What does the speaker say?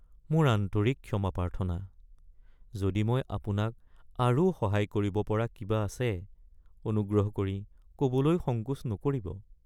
মোৰ আন্তৰিক ক্ষমা প্ৰাৰ্থনা! যদি মই আপোনাক আৰু সহায় কৰিব পৰা কিবা আছে, অনুগ্ৰহ কৰি ক'বলৈ সংকোচ নকৰিব।